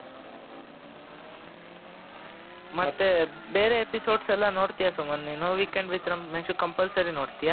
ಮತ್ತೆ ಬೇರೆ episodes ಎಲ್ಲಾ ನೋಡ್ತೀಯ ಸುಮಂತ್ ನೀನು weekend with ರಮೇಶ್ compulsory ನೋಡ್ತೀಯ